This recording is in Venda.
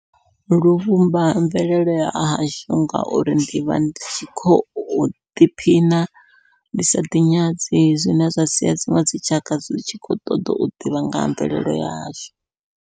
Luvhumba mvelele ya hashu ngauri ndivha ndi tshi khou ḓiphina ndi sa ḓi nyadzi zwine zwa sia dziṅwe dzitshaka dzi tshi khou ṱoḓa u ḓivha nga ha mvelele ya hashu.